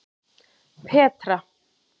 Petra